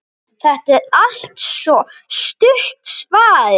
Þetta er altso stutta svarið.